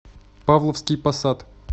павловский посад